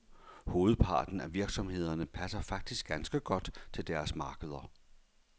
Hovedparten af virksomhederne passer faktisk ganske godt til deres markeder.